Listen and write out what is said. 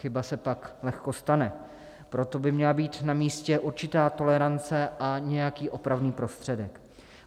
Chyba se pak lehko stane, proto by měla být na místě určitá tolerance a nějaký opravný prostředek.